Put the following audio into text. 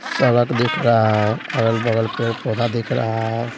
सड़क दिख रहा है अगल-बगल पेड़ पौधा दिख रहा है।